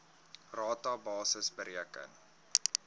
rata basis bereken